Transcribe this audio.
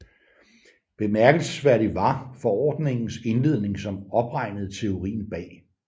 Bemærkelsesværdig var forordningens indledning som opregnede teorien bag